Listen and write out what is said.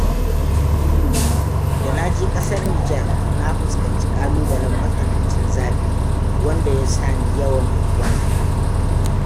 Da naje ƙasar Nijar na fuskanci ƙalu-balen matsanancin zafi, wanda ya sa ni yawan wanka.